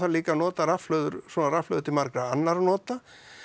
líka að nota rafhlöður svona rafhlöður til margra annarra nota